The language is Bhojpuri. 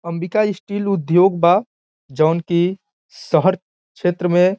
अंबिका स्टील उद्योग बा जउन की शहर क्षेत्र में --